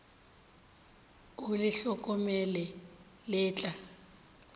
o le hlokomele le tla